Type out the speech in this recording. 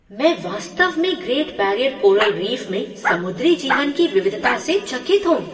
मैं वास्तव में ग्रेट बैरियर कोरल रीफ में समुद्री जीवन की विविधता से चकित हूँ।